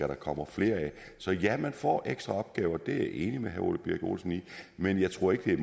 der kommer flere af så ja man får ekstra opgaver det enig med herre ole birk olesen i men jeg tror ikke det er